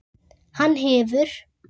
Hann hefur.